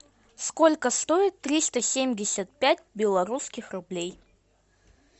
сколько стоит триста семьдесят пять белорусских рублей